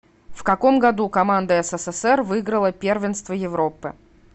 в каком году команда ссср выиграла первенство европы